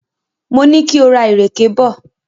Mo ní kí o ra ìrèké bọ̀.